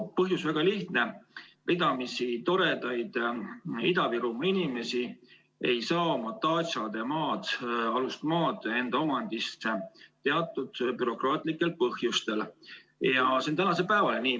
Põhjus on väga lihtne: ridamisi toredaid Ida-Virumaa inimesi ei saa oma datšade alust maad enda omandisse teatud bürokraatlikel põhjustel ja see on tänase päevani nii.